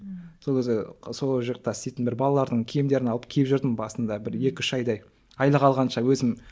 сол кезде сол жақта істейтін бір балалардың киімдерін алып киіп жүрдім басында бір екі үш айдай айлық алғанша өзім